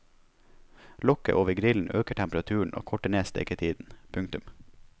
Lokket over grillen øker temperaturen og korter ned steketiden. punktum